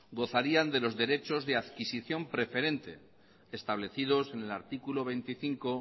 gozarían de los derechos de adquisición preferente establecidos en el artículo veinticinco